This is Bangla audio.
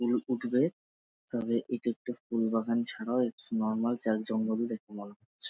ফুল ফুটবে তবে এটি একটি ফুল বাগান ছাড়াও একটি নরমাল জাগজঙ্গল দেখে মনে হচ্ছে ।